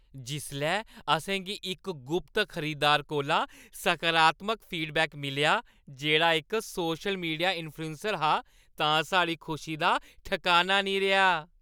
जिसलै असेंगी इक गुप्त खरीदार कोला सकारात्मक फीडबैक मिलेआ जेह्ड़ा इक सोशल मीडिया इंफ्लुएंसर हा तां साढ़ी खुशी दा ठकाना निं रेहा।